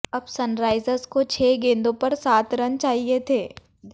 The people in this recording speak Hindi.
अब सनराइजर्स को छह गेंदों पर सात रन चाहिए थे